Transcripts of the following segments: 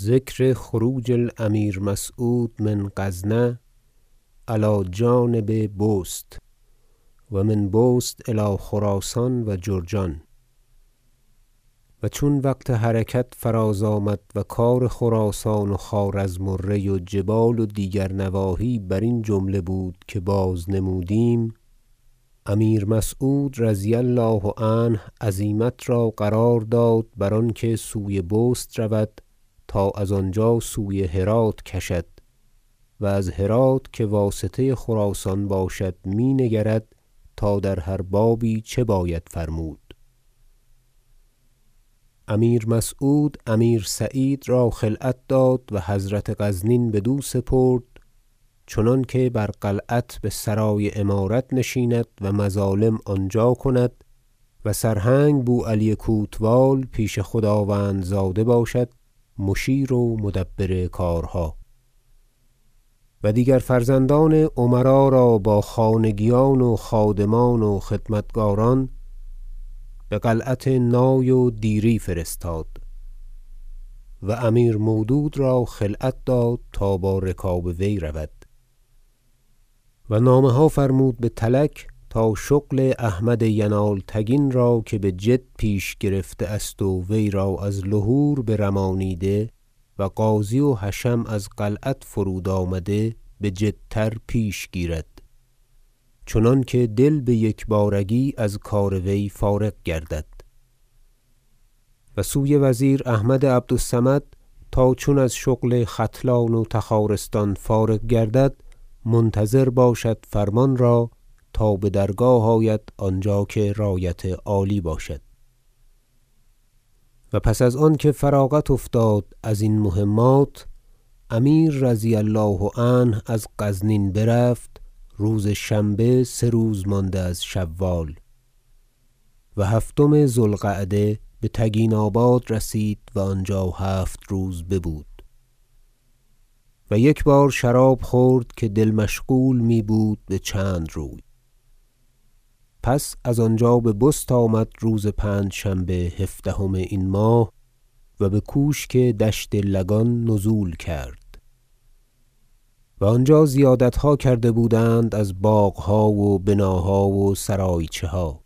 ذکر خروج الامیر مسعود من غزنة علی جانب بست و من بست الی خراسان و جرجان و چون وقت حرکت فراز آمد- و کار خراسان و خوارزم و ری و جبال و دیگر نواحی برین جمله بود که بازنمودیم- امیر مسعود رضی الله عنه عزیمت را قرار داد بر آنکه سوی بست رود تا از آنجا سوی هرات کشد و از هرات که واسطه خراسان باشد مینگرد تا در هر بابی چه باید فرمود امیر مسعود امیر سعید را خلعت داد و حضرت غزنین بدو سپرد چنانکه بر قلعت بسرای امارت نشیند و مظالم آنجا کند و سرهنگ بوعلی کوتوال پیش خداوندزاده باشد مشیر و مدبر کارها و دیگر فرزندان امرا را با خانگیان و خادمان و خدمتگاران بقلعت نای و دیری فرستاد و امیر مودود را خلعت داد تا با رکاب وی رود و نامه ها فرمود به تلک تا شغل احمد ینالتگین را که بجد پیش گرفته است و وی را از لهور برمانیده و قاضی و حشم از قلعت فرود آمده بجدتر پیش گیرد چنانکه دل بیکبارگی از کار وی فارغ گردد و سوی وزیر احمد عبد الصمد تا چون از شغل ختلان و تخارستان فارغ گردد منتظر باشد فرمان را تا بدرگاه آید آنجا که رایت عالی باشد و پس از آنکه فراغت افتاد ازین مهمات امیر رضی الله عنه از غزنین برفت روز شنبه سه روز مانده از شوال و هفتم ذو القعده بتگیناباد رسید و آنجا هفت روز ببود و یک بار شراب خورد که دل مشغول میبود بچند روی پس از آنجا به بست آمد روز پنجشنبه هفدهم این ماه و بکوشک دشت لگان نزول کرد و آنجا زیادتها کرده بودند از باغها و بناها و سرایچه ها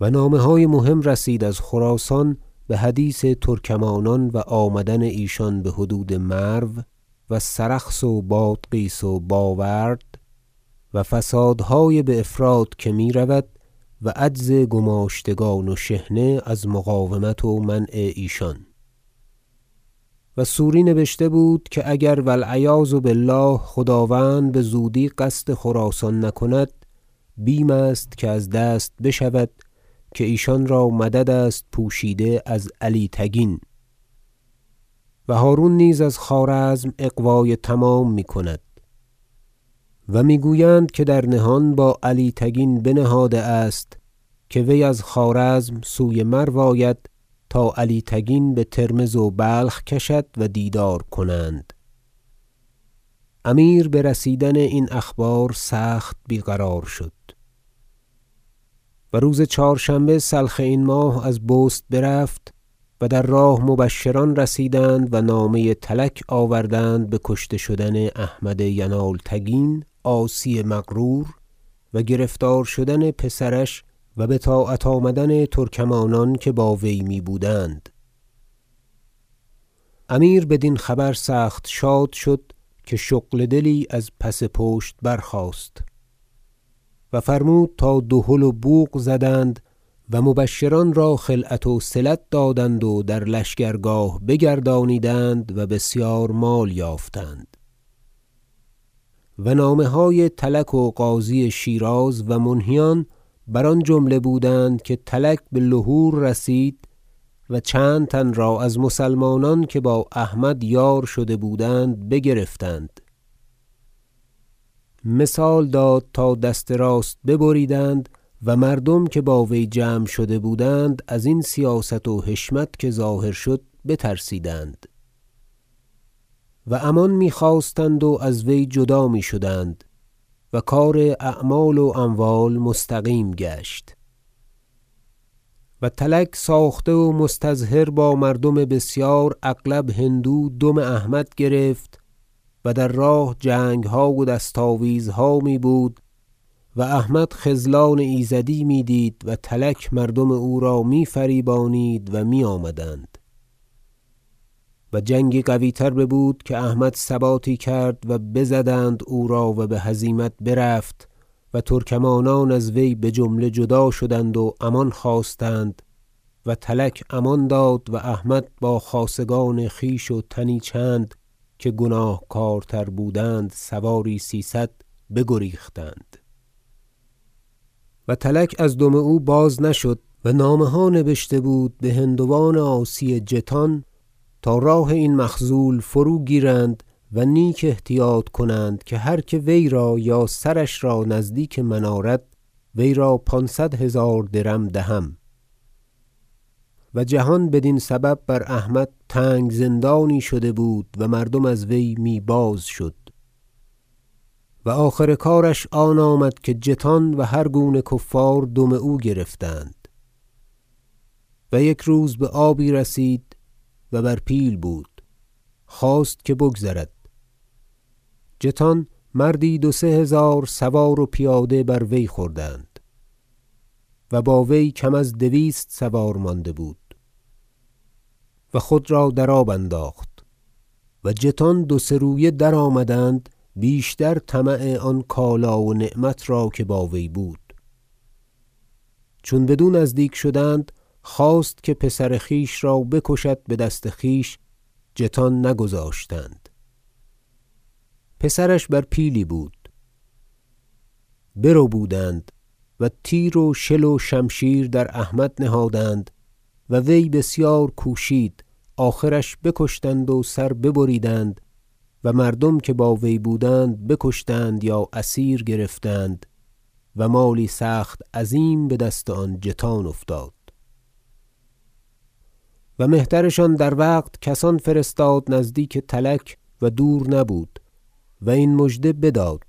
و نامه های مهم رسید از خراسان بحدیث ترکمانان و آمدن ایشان بحدود مرو سرخس و بادغیس و باورد و فسادهای بافراط که میرود و عجز گماشتگان و شحنه از مقاومت و منع ایشان و سوری نبشته بود که اگر و العیاذ بالله خداوند بزودی قصد خراسان نکند بیم است که از دست بشود که ایشان را مدد است پوشیده از علی تگین و هرون نیز از خوارزم اغوای تمام میکند و میگویند که در نهان با علی تگین بنهاده است که وی از خوارزم سوی مرو آید تا علی تگین بترمذ و بلخ کشد و دیدار کنند امیر برسیدن این اخبار سخت بیقرار شد و روز چهارشنبه سلخ این ماه از بست برفت و در راه مبشران رسیدند و نامه تلک آوردند بکشته شدن احمد ینالتگین عاصی مغرور و گرفتار شدن پسرش و بطاعت آمدن ترکمانان که با وی می بودند امیر بدین خبر سخت شاد شد که شغل دلی از پس پشت برخاست و فرمود تا دهل و بوق زدند و مبشران را خلعت وصلت دادند و در لشکرگاه بگردانیدند و بسیار مال یافتند و نامه های تلک و قاضی شیراز و منهیان بر آن جمله بودند که تلک بلهور رسید و چند تن را از مسلمانان که با احمد یار شده بودند بگرفتند مثال داد تا دست راست ببریدند و مردم که با وی جمع شده بودند ازین سیاست و حشمت که ظاهر شد بترسیدند و امان میخواستند و از وی جدا میشدند و کار اعمال و اموال مستقیم گشت و تلک ساخته و مستظهر با مردم بسیار اغلب هندو دم احمد گرفت و در راه جنگها و دست آویزها میبود و احمد خذلان ایزدی میدید و تلک مردم او را میفریبانید و میآمدند و جنگی قویتر ببود که احمد ثباتی کرد و بزدند او را و بهزیمت برفت و ترکمانان از وی بجمله جدا شدند و امان خواستند و تلک امان داد و احمد با خاصگان خویش و تنی چند که گناهکارتر بودند سواری سیصد بگریختند و تلک از دم او باز نشد و نامه ها نبشته بود بهندوان عاصی جتان تا راه این مخذول فروگیرند و نیک احتیاط کنند که هر که وی را یا سرش را نزدیک من آرد وی را پانصد هزار درم دهم و جهان بدین سبب بر احمد تنگ زندانی شده بود و مردم از وی می بازشد و آخر کارش آن آمد که جتان و هر گونه کفار دم او گرفتند و یک روز بآبی رسید و بر پیل بود خواست که بگذرد جتان مردی دو سه هزار سوار و پیاده بر وی خوردند و با وی کم از دویست سوار مانده بود و خود را در آب انداخت و جتان دو سه رویه درآمدند بیشتر طمع آن کالا و نعمت را که با وی بود چون بدو نزدیک شدند خواست که پسر خویش را بکشد بدست خویش جتان نگذاشتند پسرش بر پیلی بود بر بودند و تیر و شل و شمشیر در احمد نهادند و وی بسیار کوشید آخرش بکشتند و سرش ببریدند و مردم که با وی بودند بکشتند یا اسیر گرفتند و مالی سخت عظیم بدست آن جتان افتاد و مهترشان در وقت کسان فرستاد نزدیک تلک و دور نبود و این مژده بداد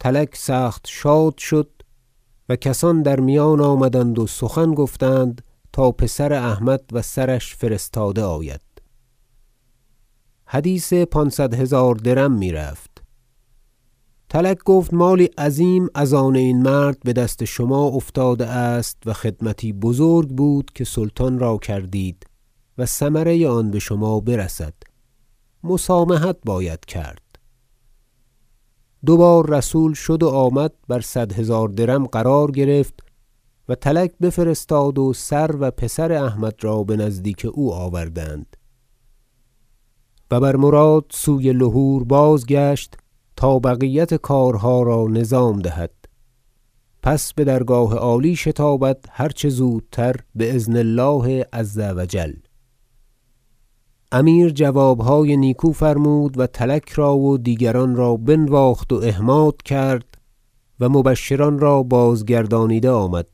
تلک سخت شاد شد و کسان در میان آمدند و سخن گفتند تا پسر احمد و سرش فرستاده آید حدیث پانصد هزار درم میرفت تلک گفت مالی عظیم از آن این مرد بدست شما افتاده است و خدمتی بزرگ بود که سلطان را کردید و ثمره آن بشما برسد مسامحت باید کرد دوبار رسول شد و آمد بر صد هزار درم قرار گرفت و تلک بفرستاد و سر و پسر احمد را بنزدیک او آوردند و بر مراد سوی لهور بازگشت تا بقیت کارها را نظام دهد پس بدرگاه عالی شتابد هر چه زودتر بأذن الله عز و جل امیر جوابهای نیکو فرمود و تلک را و دیگران را بنواخت و احماد کرد و مبشران را بازگردانیده آمد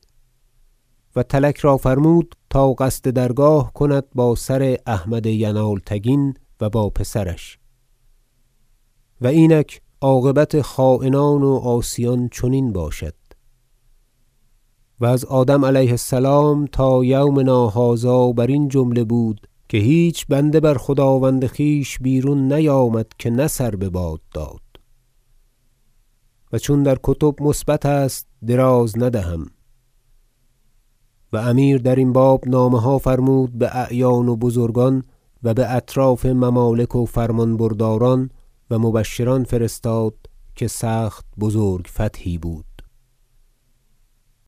و تلک را فرمود تا قصد درگاه کند با سر احمد ینالتگین و با پسرش و اینک عاقبت خاینان و عاصیان چنین باشد و از آدم علیه السلام تا یومنا هذا برین جمله بود که هیچ بنده بر خداوند خویش بیرون نیامد که نه سر بباد داد و چون در کتب مثبت است دراز ندهم و امیر درین باب نامه ها فرمود باعیان و بزرگان و باطراف ممالک و فرمان برداران و مبشران فرستاد که سخت بزرگ فتحی بود